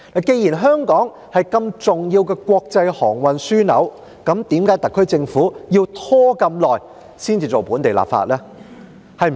既然香港是重要的國際航運樞紐，為何特區政府要拖這麼久才進行本地立法呢？